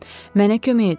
Mənə kömək edin.